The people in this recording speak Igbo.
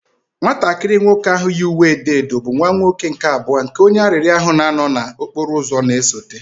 Nwatakịrị nwoke ahụ yi uwe edo edo, bụ nwa nwoke nke abụọ nke onye arịrịọ ahụ na-anọ n'okporo ụzọ na-esote